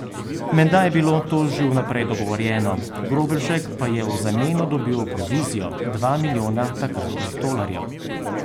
Menda je bilo to že vnaprej dogovorjeno, Grobelšek pa je v zameno dobil provizijo, dva milijona takratnih tolarjev.